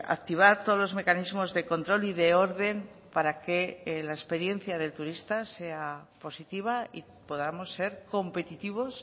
activar todos los mecanismos de control y de orden para que la experiencia del turista sea positiva y podamos ser competitivos